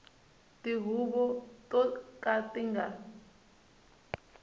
tihuvo to ka ti nga